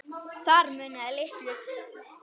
Þar munaði litlu.